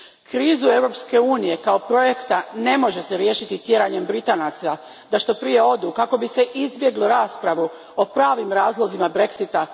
Krizu Europske unije kao projekta ne može se riješiti tjeranjem Britanaca da što prije odu kako bi se izbjeglo raspravu o pravim razlozima Brexita.